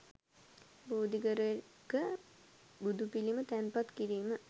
බෝධිඝරයක බුදුපිළිම තැන්පත් කිරීම